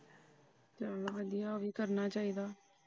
ਚਲੋ ਵਧੀਆ ਉਹ ਵੀ ਕਰਨਾ ਚਾਹੀਦਾ।